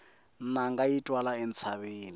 nanga yi twala entshaveni